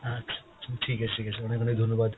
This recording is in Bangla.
আচ্ছা, ঠিক আছে ঠিক আছে, অনেক অনেক ধন্যবাদ ।